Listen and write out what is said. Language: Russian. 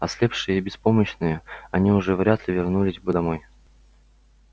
ослепшие и беспомощные они уже вряд ли вернулись бы домой